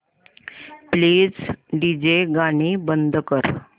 please DJ गाणी बंद कर